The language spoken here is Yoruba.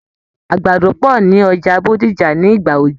Àgbàdo pọ̀ ní Ọjà Bódìjà ní ìgbà òjò.